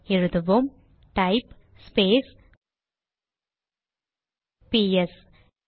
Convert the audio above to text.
எழுதுவோம் type space பிஎஸ்ps